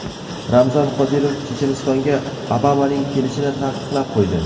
Ramzan Qodirov Chechenistonga Obamaning kelishini taqiqlab qo‘ydi.